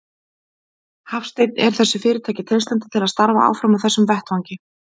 Hafsteinn: Er þessu fyrirtæki treystandi til að starfa áfram á þessum vettvangi?